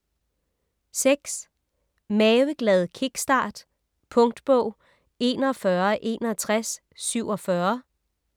Maveglad kickstart Punktbog 416147